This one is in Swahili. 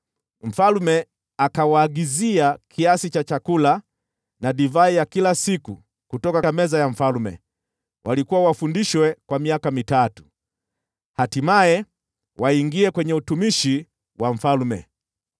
Mfalme akawaagizia kiasi cha chakula na divai ya kila siku kutoka meza ya mfalme. Walikuwa wafundishwe kwa miaka mitatu, na hatimaye waingie kwenye utumishi wa mfalme.